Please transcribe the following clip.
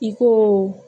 I ko